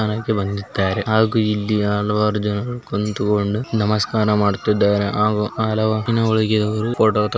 ಮೈದಾನಕ್ಕೆ ಬಂದಿದ್ದಾರೆ ಹಾಗೂ ಇಲ್ಲಿಯ ಹಲವಾರು ಜನರು ಕುಳಿತುಕೊಂಡು ನಮಸ್ಕಾರ ಮಾಡುತ್ತಿದ್ದಾರೆ ಹಾಗೂ ಅವರು ಫೋಟೋ ತ --